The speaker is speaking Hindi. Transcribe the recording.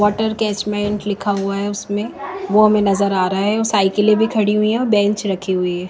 वाटर कैचमेंट लिखा हुआ है उसमें वो हमें नजर आ रहा है साइकिलें भी खड़ी हुई है बेंच रखी हुई है।